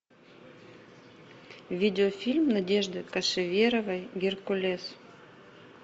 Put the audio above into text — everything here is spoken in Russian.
видеофильм надежды кошеверовой геркулес